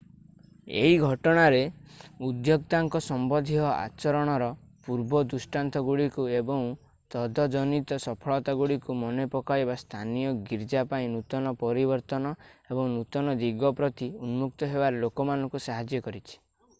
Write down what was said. ଏହି ଘଟଣାରେ ଉଦ୍ୟୋକ୍ତାଙ୍କ ସମ୍ବନ୍ଧୀୟ ଆଚରଣର ପୂର୍ବ ଦୃଷାନ୍ତଗୁଡ଼ିକୁ ଏବଂ ତଦଜନିତ ସଫଳତାଗୁଡ଼ିକୁ ମନେ ପକାଇବା ସ୍ଥାନୀୟ ଗୀର୍ଜା ପାଇଁ ନୂତନ ପରିବର୍ତ୍ତନ ଏବଂ ନୂତନ ଦିଗ ପ୍ରତି ଉନ୍ମୁକ୍ତ ହେବାରେ ଲୋକମାନଙ୍କୁ ସାହାଯ୍ୟ କରିଛି